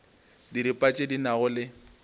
diripa tše di nago le